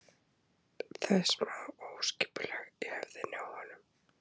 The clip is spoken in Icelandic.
Það er smá óskipulag í höfðinu á honum.